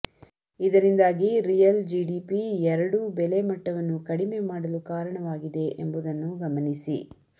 ಇದರಿಂದಾಗಿ real GDP ಎರಡೂ ಬೆಲೆ ಮಟ್ಟವನ್ನು ಕಡಿಮೆ ಮಾಡಲು ಕಾರಣವಾಗಿದೆ ಎಂಬುದನ್ನು ಗಮನಿಸಿ